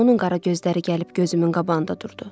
Niyə onun qara gözləri gəlib gözümün qabağında durdu?